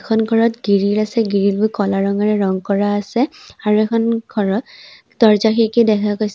এইখন ঘৰত গিৰিল আছে গিৰিল বোৰ ক'লা ৰঙেৰে ৰং কৰা আছে আৰু এইখন ঘৰত দৰ্জা খিৰিকী দেখা গৈছে।